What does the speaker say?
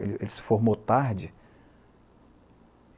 Ele ele se formou tarde.